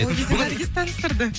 ол кезде наргиз таныстырды